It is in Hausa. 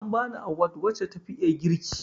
An bani awad wace tafi iya girki